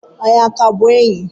Anyị a ka bụ enyi?